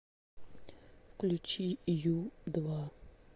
включи ю два